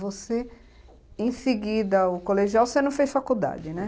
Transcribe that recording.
Você, em seguida, o colegial, você não fez faculdade, né?